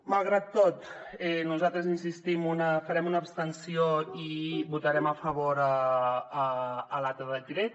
malgrat tot nosaltres hi insistim farem una abstenció i votarem a favor a l’altre decret